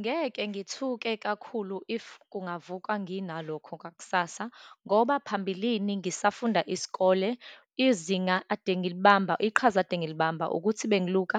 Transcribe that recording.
Ngeke ngithuke kakhulu if kungavuka nginalokho kwakusasa, ngoba phambilini ngisafunda isikole, izinga ade ngilibamba, iqhaza ade ngilibamba ukuthi bengiluka